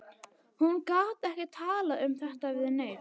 Hún gat ekki talað um þetta við neinn.